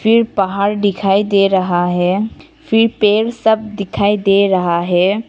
फिर पहाड़ दिखाई दे रहा है फिर पेड़ सब दिखाई दे रहा है।